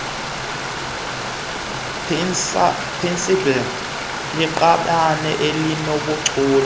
pansalb liqabane elinobuchule